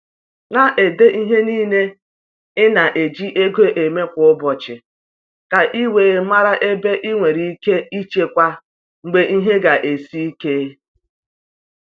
Na-ede ihe niile i na-eji ego mee kwa ụbọchị, ka i wee mara ebe i nwere ike ichekwa mgbe ihe ga esi ike.